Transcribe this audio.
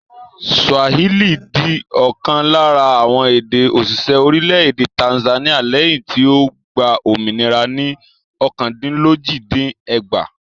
Swahili di ọ̀kan lára àwọn èdè-òṣìṣẹ́ orílẹ̀-èdè Tanzania lẹ́yìn tí ó gba òmìnira ní ọ̀kandínlójì-dín-ẹgbàá.